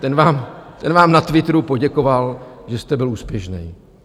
Ten vám na Twitteru poděkoval, že jste byl úspěšný...